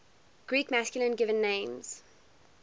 greek masculine given names